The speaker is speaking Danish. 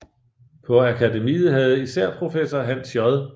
På Akademiet havde især professor Hans J